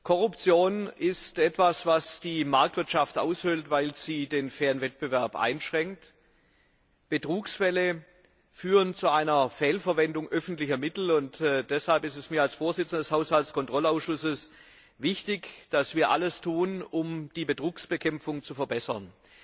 Korruption ist etwas, was die Marktwirtschaft aushöhlt, weil sie den fairen Wettbewerb einschränkt, Betrugsfälle führen zu einer Fehlverwendung öffentlicher Mittel. Deshalb ist es mir als Vorsitzendem des Haushaltskontrollausschusses wichtig, dass wir alles tun, um die Betrugsbekämpfung zu verbessern.